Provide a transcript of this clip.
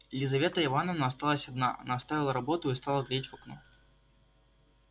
лизавета ивановна осталась одна она оставила работу и стала глядеть в окно